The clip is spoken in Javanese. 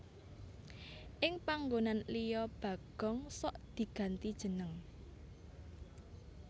Ing panggonan liya Bagong sok diganti jeneng